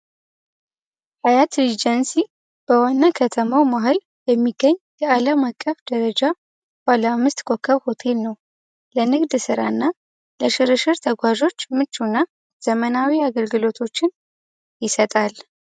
ሀያት ኤጀንሲ በሆነ ከተማ መሀል የሚገኝ በአለም አቀፍ ደረጃ ባለ አምስት ኮከብ ሆቴል ነው ለንግድ ስራ እና ለሽርሽር ተጓዦች እና ዘመናዊ አገልግሎቶችን ይሰጣል።